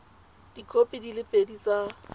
dikhopi di le pedi tsa